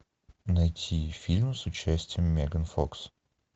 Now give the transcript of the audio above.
найти фильм с участием меган фокс